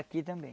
Aqui também.